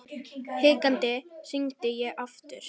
Hikandi hringdi ég aftur.